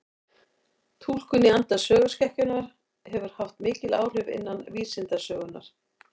Túlkun í anda söguskekkjunnar hefur haft mikil áhrif innan vísindasögunnar.